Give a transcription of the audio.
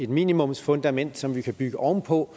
minimumsfundament som vi kan bygge oven på